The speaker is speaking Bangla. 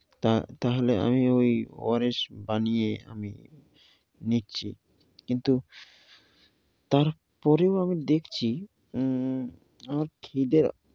তা~ তাহলে আমি ঐ ওয়ারিশ বানিয়ে আমি নিচ্ছি। কিন্তু তারপরেও আমি দেখছি উ আমার খিদে